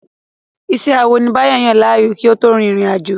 Iṣẹ́ awọ ni Báyọ̀ yàn láàyò kí ó tó rin ìrìn àjò.